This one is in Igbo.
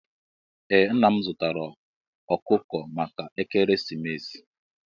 Ee nna m zụtara ọkụkọ maka ekeresimesi.